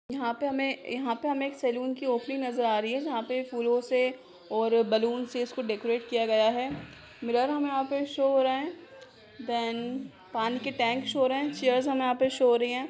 यहाँ पे हमें यहाँ पे हमे एक सलून की ओपनिंग नजर आ रही है जहा पे फूलो से और बलून से उसको डेकोरेट किया गया है मिरर हमें यह शो हो रहे हैं। देन पानी के टैंक शो हो रहे हैं चेयर्स हमे यहाँ शो हो रही हैं।